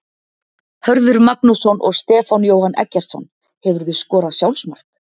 Hörður Magnússon og Stefán Jóhann Eggertsson Hefurðu skorað sjálfsmark?